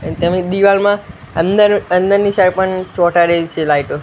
તેની દીવાલમાં અંદર અંદરની સાઇડ પણ ચોટાડેલી છે લાઈટો .